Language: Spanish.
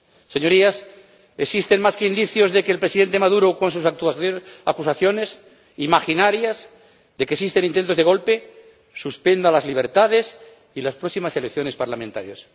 Señorías, existen más que indicios de que el Presidente Maduro, con sus acusaciones imaginarias de que existen intentos de golpe, suspenderá las libertades y las próximas elecciones parlamentarias.